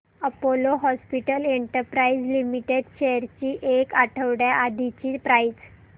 Apollo Hospitals Enterprise Limited shares ची एक आठवड्या आधीची प्राइस